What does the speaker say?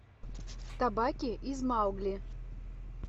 табаки из маугли